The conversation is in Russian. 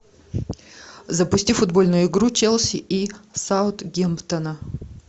запусти футбольную игру челси и саутгемптона